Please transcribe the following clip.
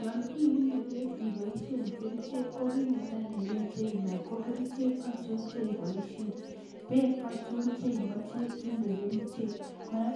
Yaaani iunee peek ipaisheen kericheek